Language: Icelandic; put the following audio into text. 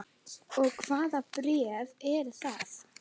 Og hvaða bréf eru það?